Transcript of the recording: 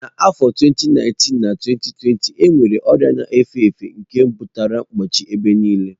Na afọ 2019/2020 enwere ọrịa na-efe efe nke butere mkpọchi ebe nile.